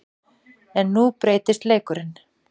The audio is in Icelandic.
En nú breytist leikurinn.